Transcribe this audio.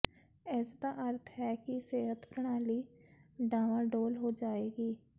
ਇਸਦਾ ਅਰਥ ਹੈ ਕਿ ਸਿਹਤ ਪ੍ਰਣਾਲੀ ਡਾਵਾਂਡੋਲ ਹੋ ਜਾਵੇਗੀ